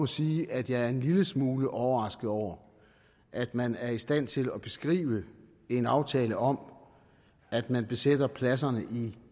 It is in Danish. sige at jeg er en lille smule overrasket over at man er i stand til at beskrive en aftale om at man besætter pladserne i